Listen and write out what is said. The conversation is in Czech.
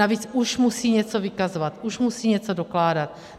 Navíc, už musí něco vykazovat, už musí něco dokládat.